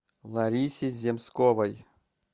ларисе земсковой